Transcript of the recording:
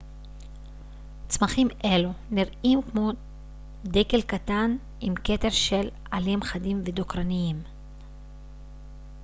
צמחים אלו נראים כמו דקל קטן עם כתר של עלים חדים ודוקרניים